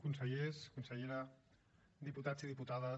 consellers consellera diputats i diputades